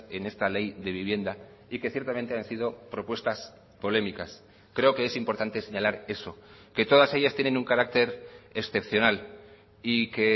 en esta ley de vivienda y que ciertamente han sido propuestas polémicas creo que es importante señalar eso que todas ellas tienen un carácter excepcional y que